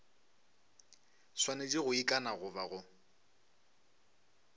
swanetše go ikana goba go